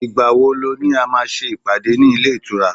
igbawo lo ni a má ṣe ìpàdé ní ile itura